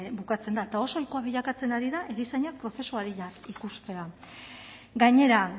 bukatzen da eta oso ohikoa bilakatzen ari da erizainak prozesu arinak ikustea gainera